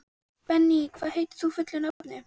Benný, hvað heitir þú fullu nafni?